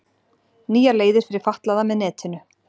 Nýjar leiðir fyrir fatlaða með netinu